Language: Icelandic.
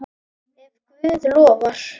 Ef Guð lofar.